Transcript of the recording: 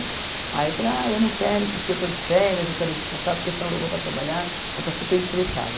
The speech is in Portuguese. Aí eu falei, ah, eu não quero porque eu estou de férias, eu quero descansar, porque senão eu vou voltar a trabalhar, vou estar super estressada.